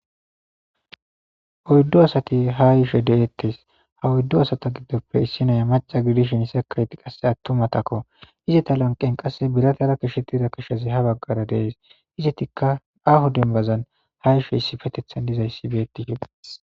Oyddu asati ha yishe deeettes ha oyddu asata giddoppe issi naya maca gidishin sekeyiti qasse attumatakko izita lanqen qasse biratara kishettida kishazi ha baggara dees izitikka aho dembazan ha yisho issifetethan dizayssi beetidides.